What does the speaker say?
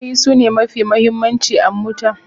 Tayoyi sune mafi muhimmanci a mota.